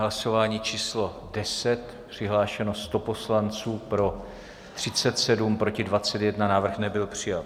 Hlasování číslo 10, přihlášeno 100 poslanců, pro 37, proti 21, návrh nebyl přijat.